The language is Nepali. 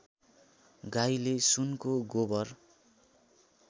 गाईले सुनको गोबर